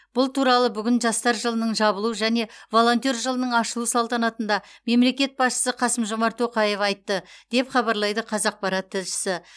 бұл туралы бүгін жастар жылының жабылу және волонтер жылының ашылу салтанатында мемлекет басшысы қасым жомарт тоқаев айтты деп хабарлайды қазақпарат тілшісі